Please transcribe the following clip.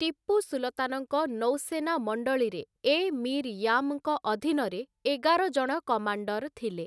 ଟିପୁ ସୁଲତାନଙ୍କ ନୌସେନା ମଣ୍ଡଳୀରେ, ଏ ମୀର୍‌ ୟାମ୍‌ଙ୍କ ଅଧୀନରେ ଏଗାରଜଣ କମାଣ୍ଡର ଥିଲେ ।